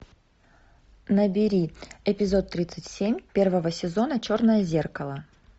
набери эпизод тридцать семь первого сезона черное зеркало